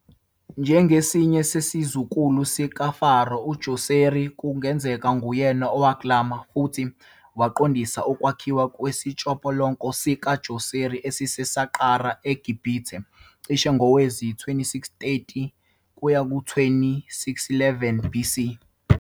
Njengesinye sezikhulu zikaFaro uDjoseri, kungenzeka uyena uwaklama futhi waqondisa ukwakhiwa kwesitshopolonco sikaDjoseri, esiseSaqqara eGibhithe cishe ngowezi-2630-2611 BC.